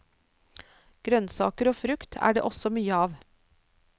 Grønsaker og frukt er det også mye av.